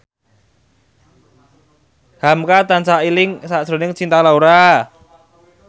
hamka tansah eling sakjroning Cinta Laura